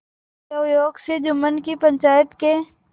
दैवयोग से जुम्मन की पंचायत के